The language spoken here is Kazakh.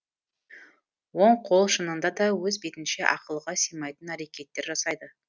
оң қол шынында да өз бетінше ақылға сыймайтын әрекеттер жасайды